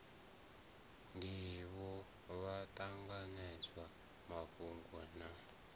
ndivho vha ṱanganedzaho mafhungo na